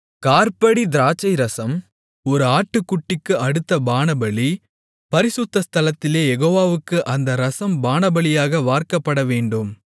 காற்படி திராட்சைரசம் ஒரு ஆட்டுக்குட்டிக்கு அடுத்த பானபலி பரிசுத்த ஸ்தலத்திலே யெகோவாவுக்கு அந்த இரசம் பானபலியாக வார்க்கப்படவேண்டும்